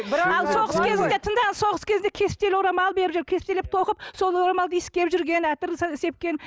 ал соғыс кезінде тыңдаңыз соғыс кезінде кестелі орамал беріп жіберіп кестелеп тоқып сол орамалды иіскеп жүрген әтір сепкен